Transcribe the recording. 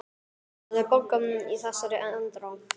Það er bankað í þessari andrá.